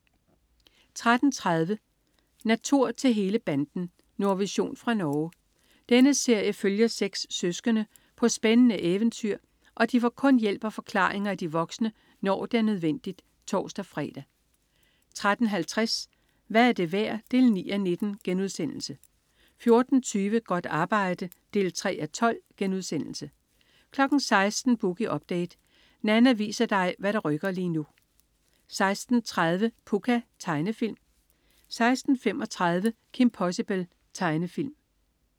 13.30 Natur til hele banden. Nordvision fra Norge. Denne serie følger seks søskende på spændende eventyr, og de får kun hjælp og forklaringer af de voksne, når det er nødvendigt (tors-fre) 13.50 Hvad er det værd? 9:19* 14.20 Godt arbejde 3:12* 16.00 Boogie Update. Nanna viser dig hvad der rykker lige nu 16.30 Pucca. Tegnefilm 16.35 Kim Possible. Tegnefilm